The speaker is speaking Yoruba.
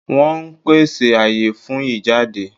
Wọ́n ón pèsè àyè fún ìjáde